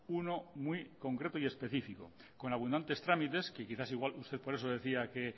uno muy concreto y específico con abundantes trámites que quizás igual usted por eso decía que